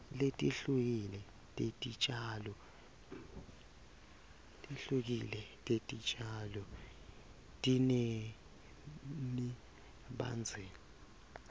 letihlukile tetitjalo tinemibandzela